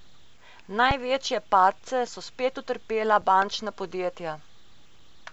Največje padce so spet utrpela bančna podjetja.